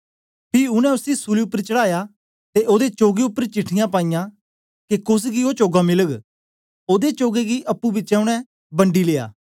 पी उनै उसी सूली उपर चढ़ाया ते ओदे चोगे उपर चिटठियाँ पाईयां के कोस गी ओ चोगा मिलग ओदे चोगे गी अप्पुं बिचें उनै बंडी लेया